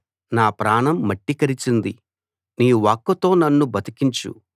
నా ప్రాణం మట్టి కరిచింది నీ వాక్కుతో నన్ను బతికించు